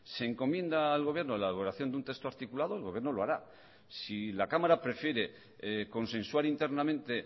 se encomienda al gobierno la elaboración de un texto articulado el gobierno lo hará si la cámara prefiere consensuar internamente